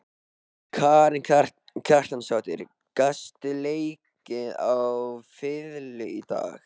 Karen Kjartansdóttir: Gastu leikið á fiðlu í dag?